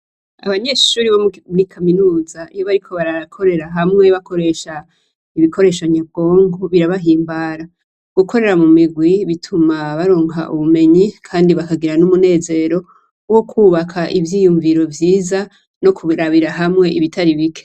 Abanyeshure bo muri kaminuza iyo bariko barakorera hamwe bakoresha ibikoresho nyabwonko birabahimbara, gukorera mu migwi bituma baronka ubumenyi Kandi bakagira n'umunezero wo kubaka ivyiyumviro vyiza no kubirabira hamwe ibitari bike.